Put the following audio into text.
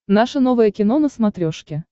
наше новое кино на смотрешке